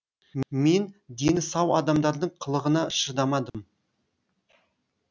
мен дені сау адамдардың қылығына шыдамадым